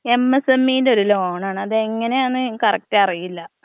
എമ് S എമ്മീന്റെ ഒര് loan ആണ്. അതെങ്ങനെയാണ് എന്ന് കറക്റ്റ് അറിയില്ല.